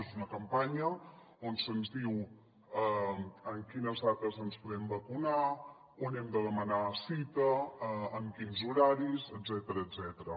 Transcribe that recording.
és una campanya on se’ns diu en quines dates ens podem vacunar on hem de demanar cita en quins horaris etcètera